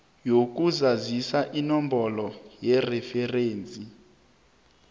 yokuzazisa inomboro yereferensi